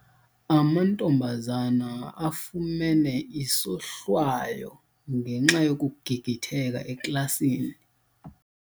Amantombazana afumene isohlwayo ngenxa yokugigitheka eklasini.